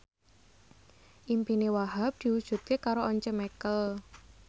impine Wahhab diwujudke karo Once Mekel